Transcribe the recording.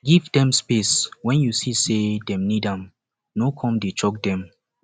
give dem space when you see sey dem need am no come dey choke dem